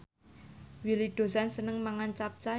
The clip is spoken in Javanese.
Willy Dozan seneng mangan capcay